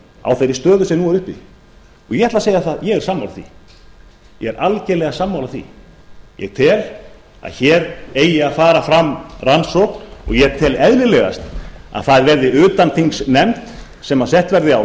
á þeirri stöðu sem nú er uppi og ég ætla að segja að ég er sammála því ég er algerlega sammála því ég tel að hér eigi að fara fram rannsókn og ég tel eðlilegast að það verði utanþingsnefnd sem sett verði á